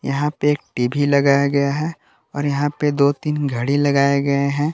यहां पे एक टी_वी लगाया गया है और यहां पे दो तीन घड़ी लगाए गए हैं।